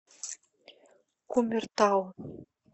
кумертау